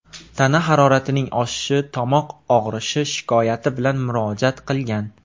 tana haroratining oshishi, tomoq og‘rishi shikoyati bilan murojaat qilgan.